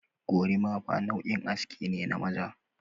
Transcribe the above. Gorimafa nau'in aske ne na maza.